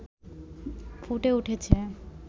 ফুটে উঠেছে